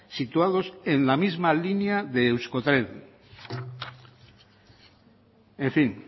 situados en la misma línea de euskotren en fin